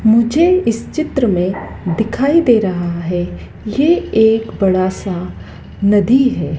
मुझे इस चित्र में दिखाई दे रहा है ये एक बड़ा सा नदी है।